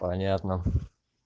понятно